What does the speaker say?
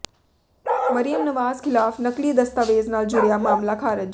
ਮਰੀਅਮ ਨਵਾਜ਼ ਖ਼ਿਲਾਫ਼ ਨਕਲੀ ਦਸਤਾਵੇਜ਼ ਨਾਲ ਜੁੜਿਆ ਮਾਮਲਾ ਖ਼ਾਰਜ